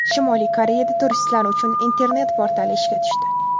Shimoliy Koreyada turistlar uchun internet portali ishga tushdi.